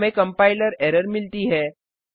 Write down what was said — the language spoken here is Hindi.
हमें कंपाइलर एरर मिलती है